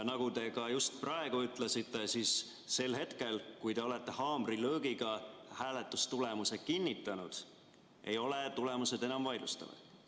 Nagu te just praegu ütlesite, sel hetkel, kui te olete haamrilöögiga hääletamistulemused kinnitanud, ei ole tulemused enam vaidlustatavad.